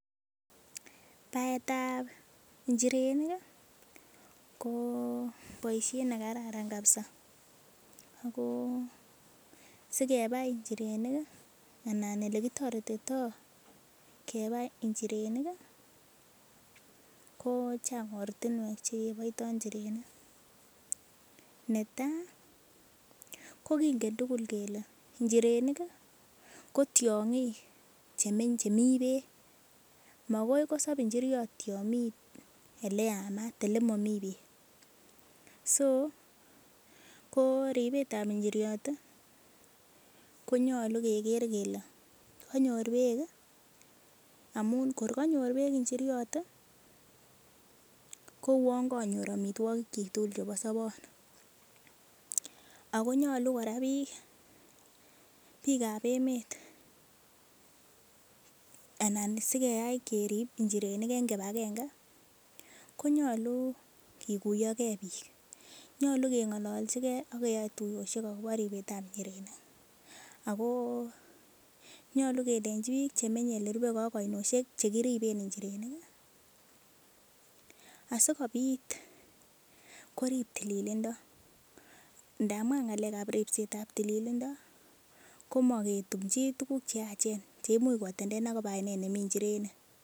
Baetab inchirenik ii ko boishet nekararan kabisa ako sikebai inchirenik ii anan elekitoretito kebai inchirenik ii kochang ortinwek chekeboito inchirenik, netaa kokingen tugul kele inchirenik kotiongik chemi beek mokoi kosob inchiriot yon mi eleyamat elemomi beek. so koribetab inchiriot ii konyolu keker kele konyor beek ii amun kor konyor beek inchiriot ii kouon konyor omitwogikchik tugul chebo sobon, akonyolu koraa bik bikab emet anan sikeyai kerib inchirenik en kipagenge konyolu kikuyo kee bik, nyolu kengolojikee ak keyai tuyoshek akobo ribetab inchirenik, ako nyolu kelenji bik chemenye menye elerubekee ak oinoshek cheloriben inchirenik ii asikobit korib tiliilindo ndamun ngalekab ripsetab tililindo komoketumji tuguk cheachen cheimuch kotenden akobaa oinet nemi inchirenik.